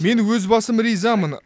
мен өз басым ризамын